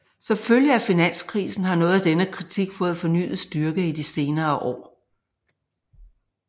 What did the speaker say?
Som følge af finanskrisen har noget af denne kritik fået fornyet styrke i de senere år